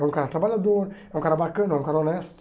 É um cara trabalhador, é um cara bacana, é um cara honesto.